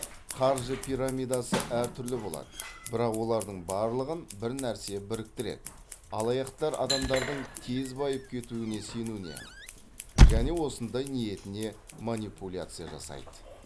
қаржы пирамидасы әр түрлі болады бірақ олардың барлығын бір нәрсе біріктіреді алаяқтар адамдардың тез байып кетуіне сенуіне және осындай ниетіне манипуляция жасайды